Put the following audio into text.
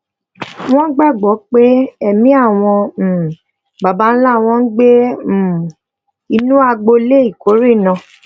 wón gbà gbó pé èmí àwọn um baba ńlá won ń gbé um inú agbolé ìkórè náà